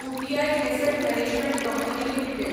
UTI asset management company limited